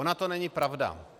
Ona to není pravda.